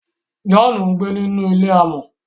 John ngbé nínú ilé amò